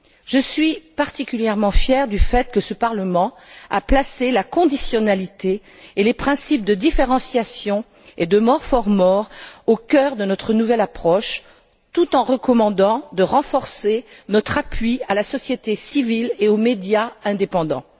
Je suis particulièrement fière du fait que ce Parlement ait placé la conditionnalité ainsi que les principes de différenciation et de plus pour plus au cœur de notre nouvelle approche, tout en recommandant de renforcer notre appui à la société civile et aux médias indépendants.